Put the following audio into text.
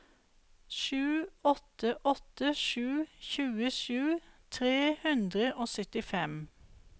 sju åtte åtte sju tjuesju tre hundre og syttifem